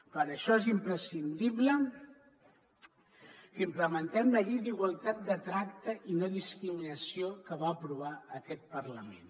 per això és imprescindible que implementem la llei d’igualtat de tracte i no discriminació que va aprovar aquest parlament